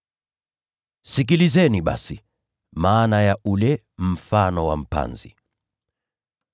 “Sikilizeni basi maana ya ule mfano wa mpanzi: